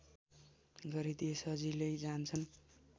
गरिदिए सजिलै जान्छन्